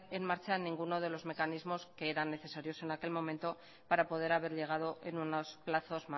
en marcha ninguno de los mecanismos que eran necesarios en aquel momento para poder haber llegado en unos plazos